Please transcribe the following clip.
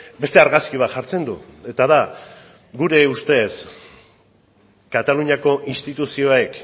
beste argazki bat jartzen du eta da gure ustez kataluniako instituzioek